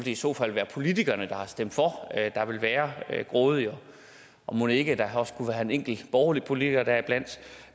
i så fald være politikerne der har stemt for der ville være grådige og mon ikke der også kunne være en enkelt borgerlig politiker deriblandt